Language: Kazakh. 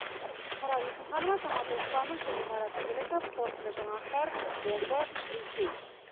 ақмарал есімханова самат оспанов және марат игіліков қорытынды жаңалықтар омбы ресей